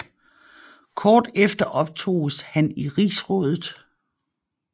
Kort efter optoges han i Rigsrådet